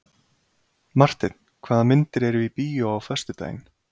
Marteinn, hvaða myndir eru í bíó á föstudaginn?